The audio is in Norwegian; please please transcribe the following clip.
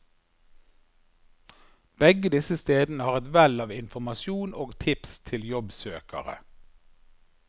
Begge disse stedene har et vell av informasjon og tips til jobbsøkere.